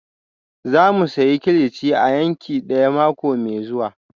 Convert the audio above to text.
Za mu sayi kilichi a yanki daya mako mai zuwa